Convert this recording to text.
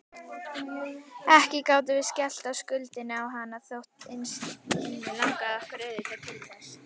Ekki gátum við skellt skuldinni á hana, þótt innst inni langaði okkur auðvitað til þess.